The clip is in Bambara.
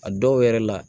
A dɔw yɛrɛ la